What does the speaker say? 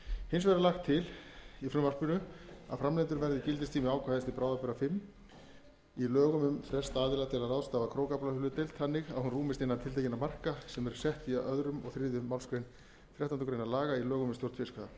hins vegar er lagt til í frumvarpinu að framlengdur verði gildistími ákvæðis til bráðabirgða fimm í lögum um frest aðila til að ráðstafa krókaaflahlutdeild þannig að hún rúmist innan tiltekinna marka sem sett eru í öðru og þriðju málsgrein þrettándu grein laga í lögum um stjórn fiskveiða ljóst